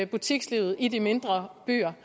butikslivet i de mindre byer